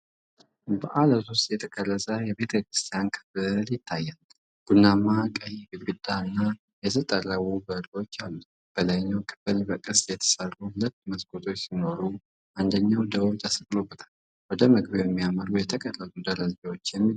በዓለት ውስጥ የተቀረጸ የቤተክርስቲያን ክፍል ይታያል። ቡናማ-ቀይ ግድግዳ እና የተጠረቡ በሮች አሉት። በላይኛው ክፍል በቅስት የተሠሩ ሁለት መስኮቶች ሲኖሩ አንደኛው ደውል ተሰቅሎበታል። ወደ መግቢያው የሚያመሩ የተቀረጹ ደረጃዎችም ይገኛሉ።